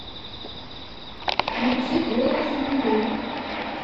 включи голос луны